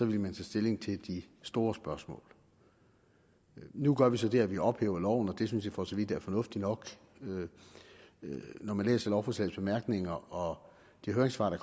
vil man tage stilling til de store spørgsmål nu gør vi så det at vi ophæver loven og det synes jeg for så vidt er fornuftigt nok når man læser lovforslagets bemærkninger og de høringssvar der